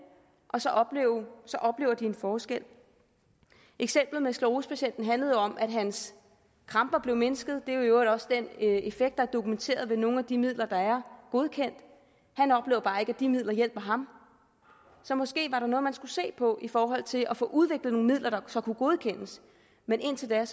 og så oplever de en forskel eksemplet med sklerosepatienten handler om at hans kramper blev mindsket det er i øvrigt også den effekt der er dokumenteret ved nogle af de midler der er godkendt han oplever bare ikke at de midler hjælper ham så måske var der noget man skulle se på i forhold til at få udviklet nogle midler der så kunne godkendes men indtil da